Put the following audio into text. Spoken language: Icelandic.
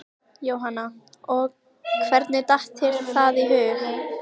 Jóhanna: Og hvernig datt þér það í hug?